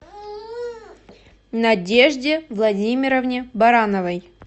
надежде владимировне барановой